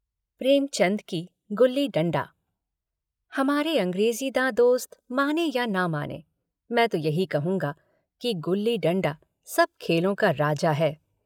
प्रेमचंद की गुल्लीडण्डा हमारे अँग्रेजीदाँ दोस्त माने या न मानें मैं तो यही कहूँगा कि गुल्लीडण्डा सब खेलों का राजा है।